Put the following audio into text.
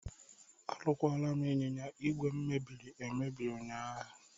Arụkwara m ịnyịnya ìgwè m mebiri emebi ụnyaahụ.